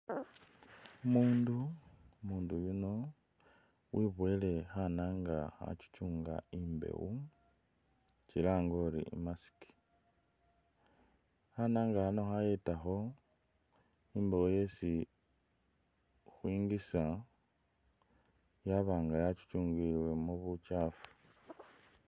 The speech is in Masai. Umundu umundu yuno wiboyele khananga khachuchunga imbewo tsirange uli i'mask, khananga akha khayetakho imbewo yesi khwingisa yaba nga yachuchungibwilemu butchafu